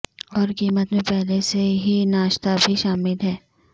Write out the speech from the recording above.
اور قیمت میں پہلے سے ہی ناشتا بھی شامل ہے